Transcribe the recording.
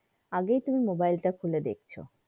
আগেই তুমি mobile তা খুলে দেখছো।